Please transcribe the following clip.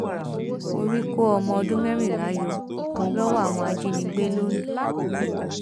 orí kó ọmọ ọdún mẹrìnlá yọ lọwọ àwọn ajìnígbé londo